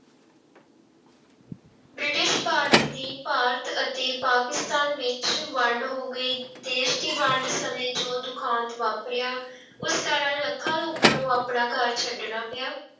British Bharat ਦੀ ਭਾਰਤ ਅਤੇ ਪਾਕਿਸਤਾਨ ਵਿੱਚ ਵੰਡ ਹੋ ਗਈ ਦੇਸ ਦੀ ਵੰਡ ਸਮੇਂ ਜੋ ਦੁਖਾਂਤ ਵਾਪਰਿਆ ਉਸ ਕਾਰਨ ਲੱਖਾਂ ਲੋਕਾਂ ਨੂੰ ਆਪਣਾ ਘਰ ਛੱਡਣਾ ਪਿਆ।